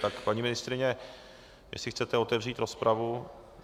Tak, paní ministryně, jestli chcete otevřít rozpravu?